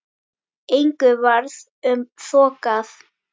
Engu varð um þokað.